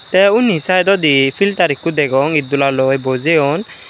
te undi sidodi filter ekko degong iddola loi bojeyon.